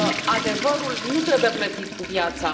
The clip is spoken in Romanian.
Adevărul nu trebuie plătit cu viața.